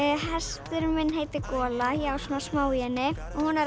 hesturinn minn heitir gola ég á svona smá í henni hún er